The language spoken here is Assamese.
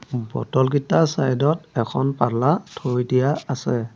বটল কিটা চাইড ত এখন পাল্লা থৈ দিয়া আছে।